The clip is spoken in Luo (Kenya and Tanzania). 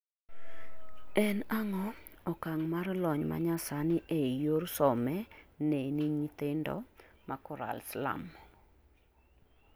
En ang'o okang' mar lony manyasani ei yor some neni nyithindo ma Korail slum?